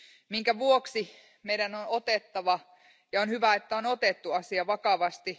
minkä vuoksi meidän on otettava ja on hyvä, että on otettu asia vakavasti.